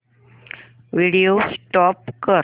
video stop कर